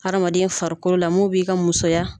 Hadamaden farikolo la mun b'i ka musoya